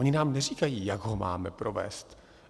Oni nám neříkají, jak ho máme provést.